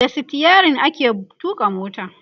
da sitayirin ake tuƙa mota